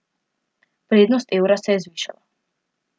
Vrednost evra se je zvišala.